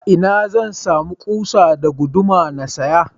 Ina zan sama kusa da guduma na siya?